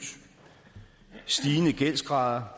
snigende gældsgrader